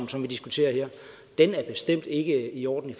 som vi diskuterer her er bestemt ikke i orden i